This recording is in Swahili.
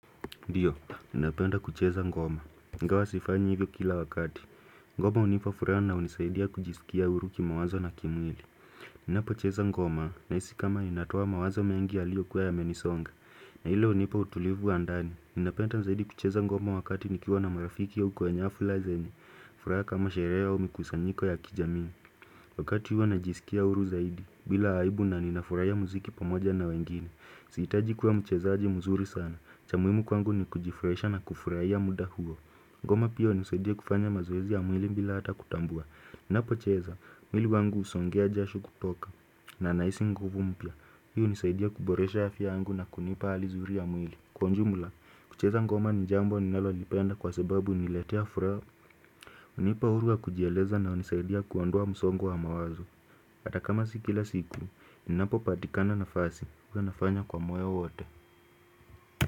Ndio, ninapenda kucheza ngoma. Ingawa sifanyi hivyo kila wakati. Ngoma hunipa furaha na hunisaidia kujisikia huru kimawazo na kimwili. Ninapocheza ngoma, nahisi kama inatoa mawazo mengi yaliyokuwa yamenisonga. Na hilo unipa utulivu wa ndani. Ninapenda zaidi kucheza ngoma wakati nikiwa na marafiki au kwa nyafla zenye furaha kama shere au mikusanyiko ya kijamii. Wakati huwa najisikia uru zaidi. Bila aibu na ninafuraia muziki pamoja na wengine. Sihitaji kuwa mchezaji mzuri sana. Cha muimu kwangu ni kujifuraisha na kufurahia muda huo Ngoma pia hunisaidia kufanya mazoezi ya mwili mbila hata kutambua ninapocheza, mwili wangu usongea jasho kutoka na nahisi nguvu mpya Hii hunisaidia kuboresha afya yangu na kunipa hali zuri ya mwili Kwa unjumula, kucheza ngoma ni jambo ninalolipenda kwa sebabu uniletea furaha hunipa huru wa kujieleza na hunisaidia kuondoa msongo wa mawazo Ata kama si kila siku, ninapopatikana nafasi huwa nafanya kwa moyo wote.